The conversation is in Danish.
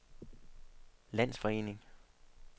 landsforening